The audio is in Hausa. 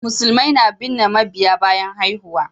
Musulmai na binne mabiyya bayan haihuwa